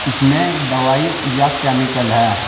इसमें दवाई या केमिकल है।